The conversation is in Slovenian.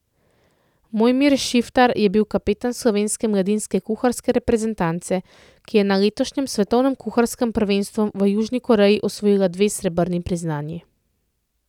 Mojmir Šiftar je bil kapetan Slovenske mladinske kuharske reprezentance, ki je na letošnjem svetovnem kuharskem prvenstvu v Južni Koreji osvojila dve srebrni priznanji.